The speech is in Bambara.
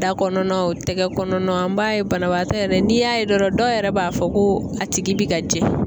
Da kɔnɔna o tɛgɛ kɔnɔna an b'a ye banabagatɔ yɛrɛ n'i y'a ye dɔrɔn dɔw yɛrɛ b'a fɔ ko a tigi bi ka jɛ.